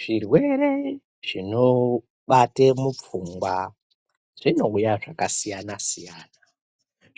Zvirwere zvinobate mupfungwa zvingangova zvakasiyana siyana.